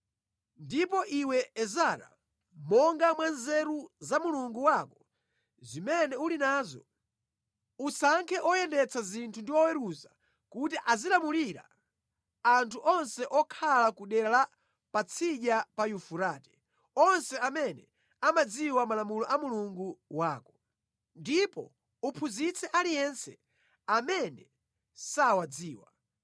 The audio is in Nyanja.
Ndipo iwe, Ezara, monga mwa nzeru za Mulungu wako zimene uli nazo, usankhe oyendetsa zinthu ndi oweruza kuti azilamulira anthu onse okhala ku dera la Patsidya pa Yufurate, onse amene amadziwa malamulo a Mulungu wako. Ndipo uphunzitse aliyense amene sawadziwa.